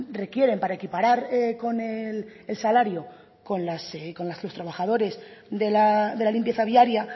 requieren para equiparar con el salario con los trabajadores de la limpieza diaria